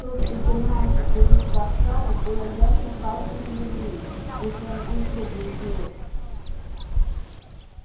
то что германцы придут в варшаву было ясно каждому еврею если он не круглый идиот